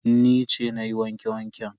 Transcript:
Ni ce na yi wanke-wanken.